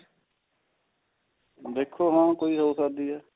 ਦੇਖੋ ਹਾਂ ਕੋਈ ਹੋ ਸਕਦੀ ਹੈ